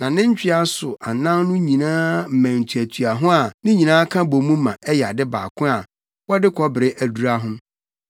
Na ne ntwea so anan no nyinaa mmɛn tuatua ho a ne nyinaa ka bɔ mu ma ɛyɛ ade baako a wɔde kɔbere adura ho.